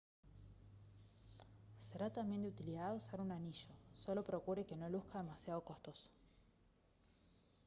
será también de utilidad usar un anillo solo procure que no luzca demasiado costoso